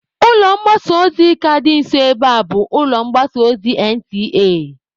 Ụlọ mgbasa ozi ka dị nso ebe a bụ ụlọ mgbasa ozi NTA.